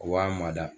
O b'a mada